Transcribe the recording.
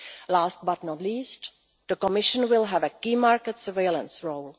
Last but not least, the Commission will have a key market surveillance role.